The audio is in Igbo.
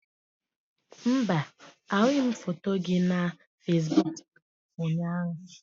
Mba, ahụghị m foto gị na Fesiboku ụnyaahụ.